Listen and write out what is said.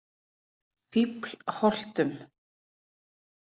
Fíflholtum